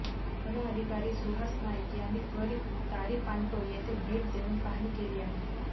one अधिकारी सुहास नाईक यांनी त्वरित तारीपांटो येथे भेट देऊन पाहणी केली आहे